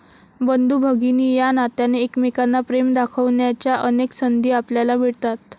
बंधुभगिनी या नात्याने, एकमेकांना प्रेम दाखवण्याच्या अनेक संधी आपल्याला मिळतात.